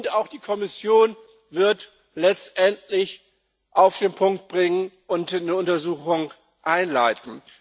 Und auch die Kommission wird das letztendlich auf den Punkt bringen und eine Untersuchung einleiten.